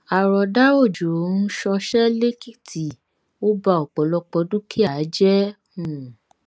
àròdà òjò um ṣọṣẹ lẹkìtì ó ba ọpọlọpọ dúkìá jẹ um